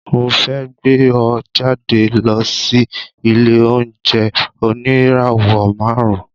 Mo fẹ́ gbé ọ jáde lọ sí ilé-oúnjẹ oníràwọ̀ márùn-ún.